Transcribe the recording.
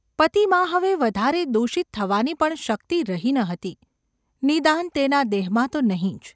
પતિમાં હવે વધારે દૂષિત થવાની પણ શક્તિ રહી ન હતી – નિદાન તેના દેહમાં તો નહિ જ.